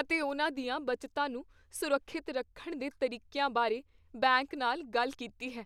ਅਤੇ ਉਹਨਾਂ ਦੀਆਂ ਬੱਚਤਾਂ ਨੂੰ ਸੁਰੱਖਿਅਤ ਰੱਖਣ ਦੇ ਤਰੀਕਿਆਂ ਬਾਰੇ ਬੈਂਕ ਨਾਲ ਗੱਲ ਕੀਤੀ ਹੈ।